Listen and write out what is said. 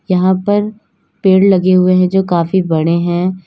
यहां पर पेड़ लगे हुए हैं जो काफी बड़े हैं।